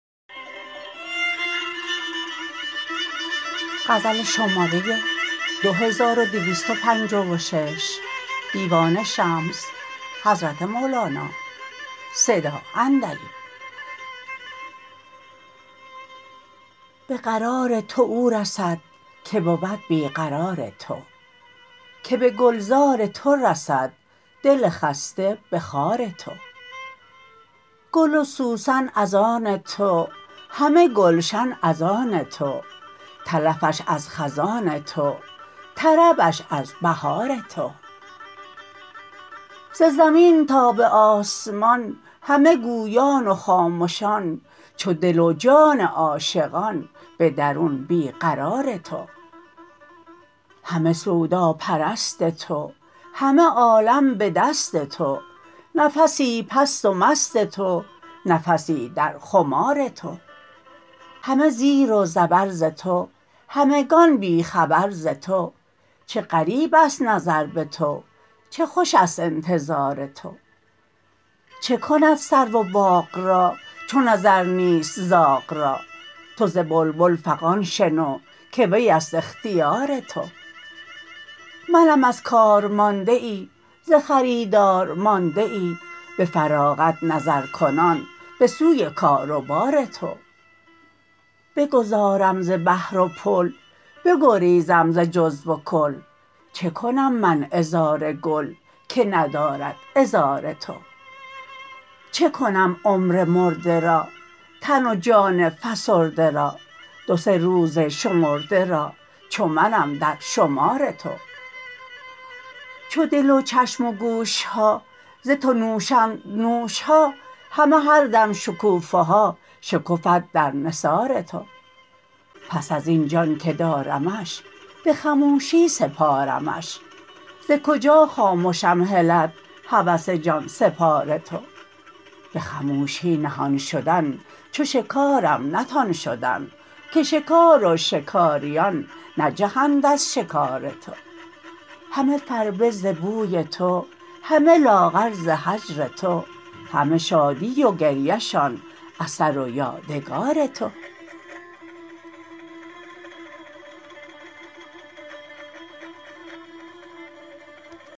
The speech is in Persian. به قرار تو او رسد که بود بی قرار تو که به گلزار تو رسد دل خسته به خار تو گل و سوسن از آن تو همه گلشن از آن تو تلفش از خزان تو طربش از بهار تو ز زمین تا به آسمان همه گویان و خامشان چو دل و جان عاشقان به درون بی قرار تو همه سوداپرست تو همه عالم به دست تو نفسی پست و مست تو نفسی در خمار تو همه زیر و زبر ز تو همگان بی خبر ز تو چه غریب است نظر به تو چه خوش است انتظار تو چه کند سرو و باغ را چو نظر نیست زاغ را تو ز بلبل فغان شنو که وی است اختیار تو منم از کار مانده ای ز خریدار مانده ای به فراغت نظرکنان به سوی کار و بار تو بگذارم ز بحر و پل بگریزم ز جزو و کل چه کنم من عذار گل که ندارد عذار تو چه کنم عمر مرده را تن و جان فسرده را دو سه روز شمرده را چو منم در شمار تو چو دل و چشم و گوش ها ز تو نوشند نوش ها همه هر دم شکوفه ها شکفد در نثار تو پس از این جان که دارمش به خموشی سپارمش ز کجا خامشم هلد هوس جان سپار تو به خموشی نهان شدن چو شکارم نتان شدن که شکار و شکاریان نجهند از شکار تو همه فربه ز بوی تو همه لاغر ز هجر تو همه شادی و گریه شان اثر و یادگار تو